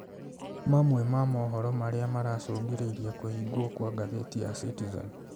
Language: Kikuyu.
Mamwe ma mohoro marĩa maracũngĩrĩirie kũhingwo kwa ngathĩti ya Citizen